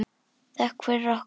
Þökk fyrir okkur.